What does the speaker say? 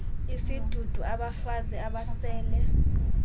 isidudu abafazi abasele